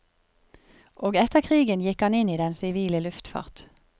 Og etter krigen gikk han inn i den sivile luftfart.